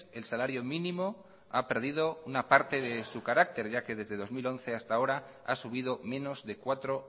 el salario mínimo ha perdido una parte de su carácter ya que desde dos mil once hasta ahora ha subido menos de cuatro